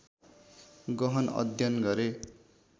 गहन अध्ययन गरे